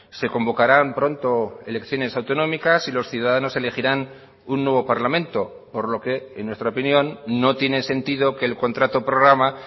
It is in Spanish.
se convocarán pronto elecciones autonómicas y los ciudadanos elegirán un nuevo parlamento por lo que en nuestra opinión no tiene sentido que el contrato programa